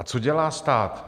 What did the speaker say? A co dělá stát?